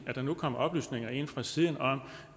at der nu kommer oplysninger ind fra siden om